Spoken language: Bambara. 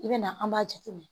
I bɛ na an b'a jateminɛ